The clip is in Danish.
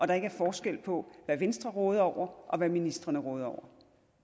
der ikke er forskel på hvad venstre råder over og hvad ministrene råder